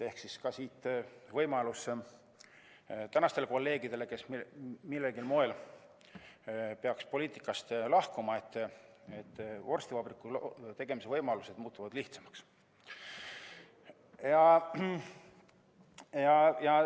Siit ka võimalus tänastele kolleegidele, kes millegi tõttu peaksid poliitikast lahkuma: vorstivabriku tegemise võimalused muutuvad lihtsamaks.